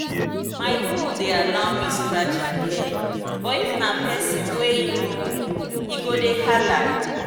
my bull dey allow me scratch em head but if but if na pesin wey em no know e go dey hala.